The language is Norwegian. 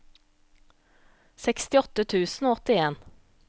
sekstiåtte tusen og åttien